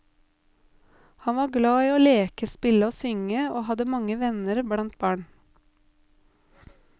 Han var glad i å leke, spille og synge, og hadde mange venner blant barn.